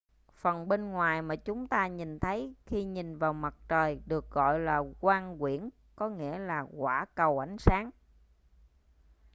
phần bên ngoài mà chúng ta nhìn thấy khi nhìn vào mặt trời được gọi là quang quyển có nghĩa là quả cầu ánh sáng